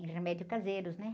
Em remédios caseiros, né?